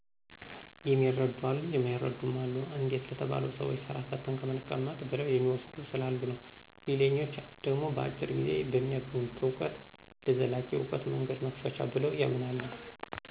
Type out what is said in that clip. የሚረዱ አሉ የማይረድም አሉ፤ አንዴት ለተባለው ሰዎች ስራ ፈተን ከምንቀመጥ ብለው የሚዎስዱ ስላሉ የዉ። ሌላኛች ደሞ በአጭር ጊዜ በሚያገኙት አውቀት ለዘላቂ አውቀት መንገድ መክፈቻ ብለው ያምናሉ።